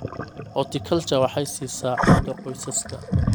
Horticulture waxay siisaa cunto qoysaska.